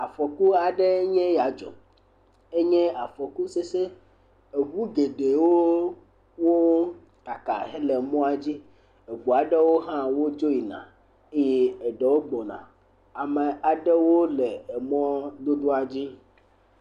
Afɔku aɖee nye ya dzɔ. Enye afɔku sesẽ. Eŋu geɖewo, wokaka hele mɔa dzi. Eŋu aɖewo hã wodzo yina eye eɖewo gbɔna. Ame aɖewo le emɔdodoa dzi